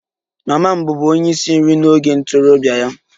Mama m bụbu onye isi nri n'oge ntorobịa ya